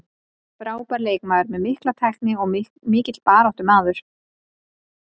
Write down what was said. Hann er frábær leikmaður með mikla tækni og mikill baráttumaður.